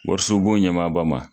Wariso bon ɲɛmaba ma.